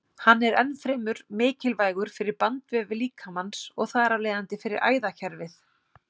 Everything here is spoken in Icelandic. Hann er ennfremur mikilvægur fyrir bandvefi líkamans og þar af leiðandi fyrir æðakerfið.